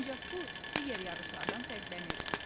Ancaq bu digər yarışlardan fərqlənirdi.